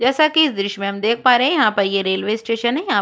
जैसा कि इस दृश्य में हम देख पा रहै हैं यहाँ पर ये रेलवे स्टेशन है यहाँ --